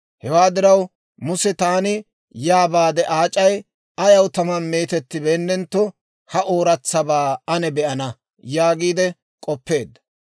Hewaa diraw, Muse, «Taani yaa baade, aac'ay ayaw tamaan meetettibeennetto ha ooratsabaa ane be'ana» yaagiide k'oppeedda.